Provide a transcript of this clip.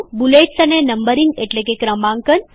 bullets અને numbering એટલે કે ક્રમાંકન